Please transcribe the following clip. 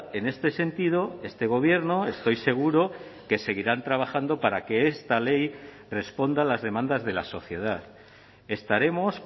en este sentido este gobierno estoy seguro que seguirán trabajando para que esta ley responda a las demandas de la sociedad estaremos